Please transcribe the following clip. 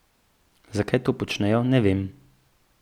Zakaj to počnejo, ne vem.